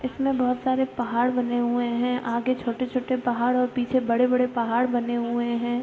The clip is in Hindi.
इसमें बोहोत सारे पहाड़ बने हुए हैं। आगे छोटे छोटे पहाड़ और पीछे बड़े बड़े पहाड़ बने हुए हैं।